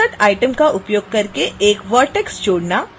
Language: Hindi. insert item का उपयोग करके एक vertex जोड़ना